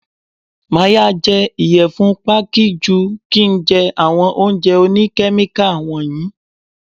Màá ya jẹ ìyẹ̀fun Pákí ju kín ń jẹ àwọn oúnjẹ òní Kẹ́míkà wọ̀nyí.